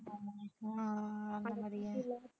ஆஹ் அந்த மாதிரியா